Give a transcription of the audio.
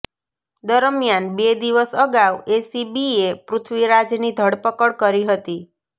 દરમિયાન બે દિવસ અગાઉ એસીબીએ પૃથ્વીરાજની ધરપકડ કરી હતી